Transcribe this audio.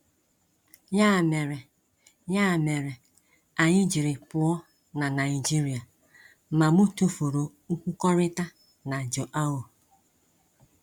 Ya mere, Ya mere, anyị jiri pụọ na Naịjirịa, ma mụ tufuru nkwukọrịta na João.